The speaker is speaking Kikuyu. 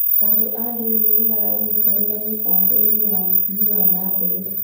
Andũ a ndini nĩ maranyitanĩra mĩbango-inĩ ya ũthii wan a mbere.